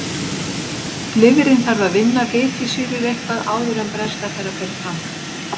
Lifrin þarf að vinna fitusýrur eitthvað áður en brennsla þeirra fer fram.